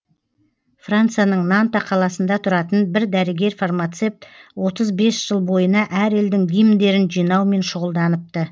францияның нанта қаласында тұратын бір дәрігер фармацепт отыз бес жыл бойына әр елдің гимндерін жинаумен шұғылданыпты